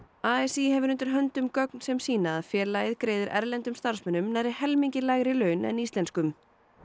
a s í hefur undir höndum gögn sem sýna að félagið greiðir erlendum starfsmönnum nærri helmingi lægri laun en íslenskum